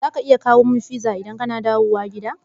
Za ka iya sayo min pizza idan kana dawowa gida?